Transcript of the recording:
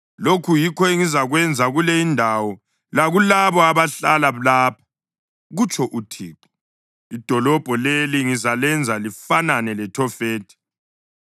Lokhu yikho engizakwenza kule indawo lakulabo abahlala lapha, kutsho uThixo. Idolobho leli ngizalenza lifanane leThofethi.